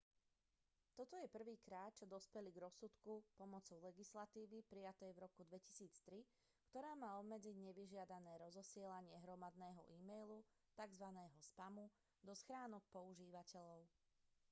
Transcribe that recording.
toto je prvýkrát čo dospeli k rozsudku pomocou legislatívy prijatej v roku 2003 ktorá má obmedziť nevyžiadané rozosielanie hromadného e-mailu tzv spamu do schránok používateľov